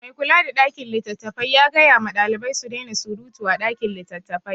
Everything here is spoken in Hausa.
Mai kula da ɗakin littattafai ya gaya ma ɗalibai su daina suruta a ɗakin littattafai.